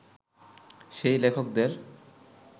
সেই লেখকদের